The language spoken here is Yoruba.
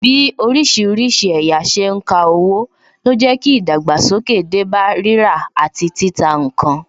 Bí orísìírísìí ẹ̀yà ṣe ń ka owó, ló jẹ́ kí ìdàgbàsókè dé bá rírà àti títà ǹkan